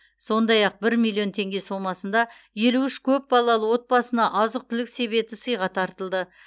сондай ақ бір миллион теңге сомасында елу үш көп балалы отбасына азық түлік себеті сыйға тартылды